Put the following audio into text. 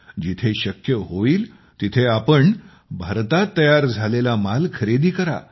जिथे शक्य होईल तिथे आपण भारतात तयार झालेला माल खरेदी करा